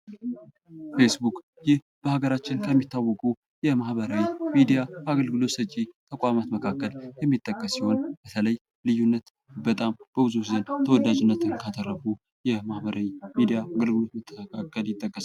ቤስቡክ ይህ በሃገራችን ከሚታወቁ የማህበራዊ ሚዲያ አገልግሎት ሰጪ ተቋማት መካከል የሚጠቀስ ሲሆን፤ በተለየ ልዩነት በጣም በብዙዎች ዘንድ ተወዳጅነትን ካተረፉ የባህበራዊ ሚዲያ መካከል ይጠቀሳል።